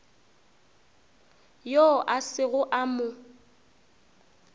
yoo a sego a mo